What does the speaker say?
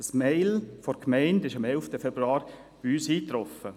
Das E-Mail der Gemeinde traf am 11. Februar bei uns ein.